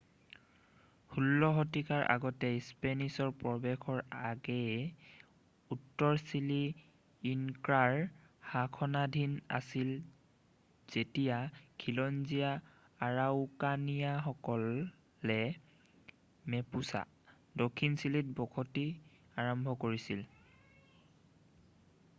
১৬ শতিকাৰ আগতে স্পেনিছৰ প্ৰৱেশৰ আগেয়ে উত্তৰ চিলি ইনক্ৰাৰ শাসনাধীন আছিল যেতিয়া খিলঞ্জীয়া আৰাউকানিয়ানসকলে মেপুচা দক্ষিণ চিলিত বসতি আৰম্ভ কৰিছিল।